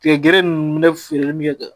Tigɛ gere nunnu ne feereli min bɛ kɛ